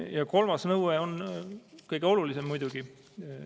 Ja kolmas nõue on kõige olulisem muidugi.